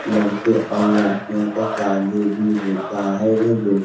लड़के और लडकियां का शादी भी होता है। यह देख --